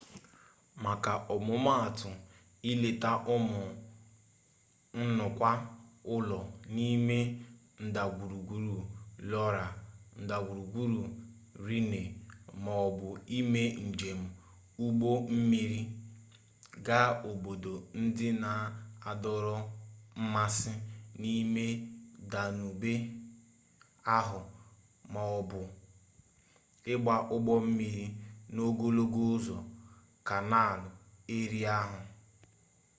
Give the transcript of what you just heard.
maka ọmụmatụ ileta ụmụ nnukwu ụlọ n'ime ndagwurugwu loire ndagwurugwu rhine ma ọ bụ ime njem ụgbọ mmiri gaa obodo ndị na-adọrọ mmasị n'ime danube ahụ ma ọ bụ ịgba ụgbọ mmiri n'ogologo ụzọ kanaal erie ahụ